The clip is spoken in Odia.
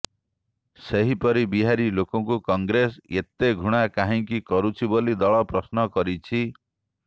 ସେହିପରି ବିହାରୀ ଲୋକଙ୍କୁ କଂଗ୍ରେସ ଏତେ ଘୃଣା କାହିଁକି କରୁଛି ବୋଲି ଦଳ ପ୍ରଶ୍ନ କରିଛି